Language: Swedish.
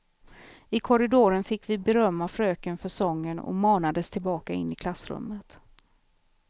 I korridoren fick vi beröm av fröken för sången och manades tillbaka in i klassrummet.